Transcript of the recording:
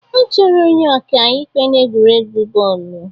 Achọrọ onye ọka ikpe n'egwuregwu bọọlụ